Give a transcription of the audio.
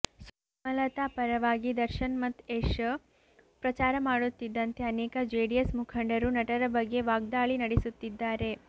ಸುಮಲತಾ ಪರವಾಗಿ ದರ್ಶನ್ ಮತ್ತು ಯಶ್ ಪ್ರಚಾರ ಮಾಡುತ್ತಿದ್ದಂತೆ ಅನೇಕ ಜೆಡಿಎಸ್ ಮುಖಂಡರು ನಟರ ಬಗ್ಗೆ ವಾಗ್ದಾಳಿ ನಡೆಸುತ್ತಿದ್ದಾರೆ